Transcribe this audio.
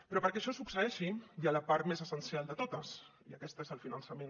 però perquè això succeeixi hi ha la part més essencial de totes i aquesta és el finançament